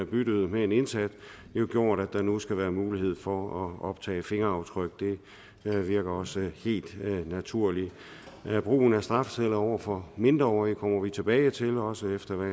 byttede med en indsat jo gjort at der nu skal være mulighed for at optage fingeraftryk det virker også helt naturligt brugen af strafceller over for mindreårige kommer vi tilbage til også efter hvad